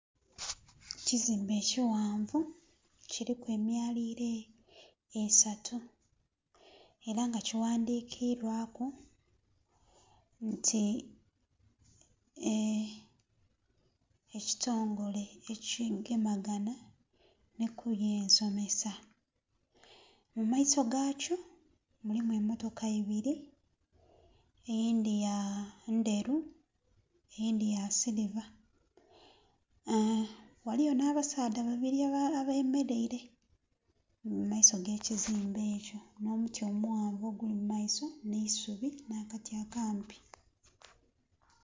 Ekizimbe ekighanvu kiliku emyaliliro esatu era nga kighandikirwaku nti Ekitongole Ekigemaganha nhi ku By'ensomesa. Mu maiso ga kyo mulimu emmotoka ibili, eyindhi ya...ndheru, eyindhi ya siliva. Ghaliyo nh'abasaadha babiri abemeleire mu maiso g'ekizimbe ekyo nh'omuti omughanvu oguli mu maiso nh'eisubi, nh'akati akampi.